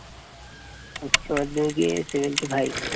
উচ্চমাধ্যমিকে seventy five